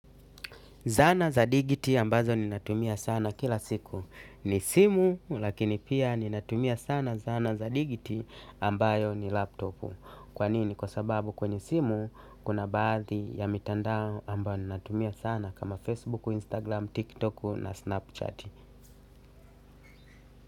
Zana za digiti ambazo ninatumia sana kila siku. Ni simu lakini pia ni natumia sana zana za digiti ambayo ni laptop. Kwa nini? Kwa sababu kwenye simu kuna baadhi ya mitandao ambayo ninatumia sana kama Facebook, Instagram, TikTok na Snapchat.